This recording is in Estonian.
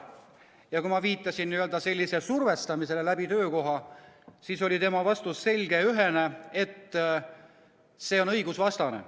Ja kui ma viitasin sellisele survestamisele töökohal, siis oli tema vastus selge ja ühene: see on õigusvastane.